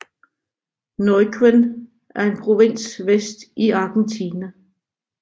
Neuquén er en provins vest i Argentina